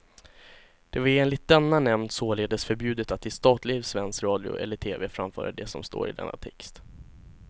Det var enligt denna nämnd således förbjudet att i statlig svensk radio eller tv framföra det som står i denna text.